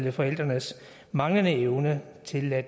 af forældrenes manglende evne til at